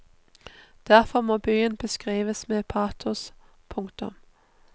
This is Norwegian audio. Derfor må byen beskrives med patos. punktum